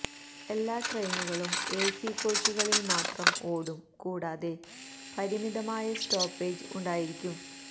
എല്ലാ ട്രെയിനുകളും എസി കോച്ചുകളിൽ മാത്രം ഓടും കൂടാതെ പരിമിതമായ സ്റ്റോപ്പേജ് ഉണ്ടായിരിക്കും